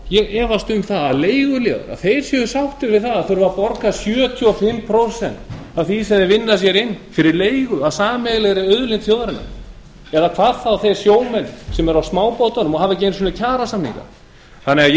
ég efast um að leiguliðar séu sáttir við að þurfa að borga sjötíu og fimm prósent af því sem þeir vinna sér inn fyrir leigu af sameiginlegri auðlind þjóðarinnar hvað þá þeir sjómenn sem eru á smábátunum og hafa ekki einu sinni kjarasamninga ég vil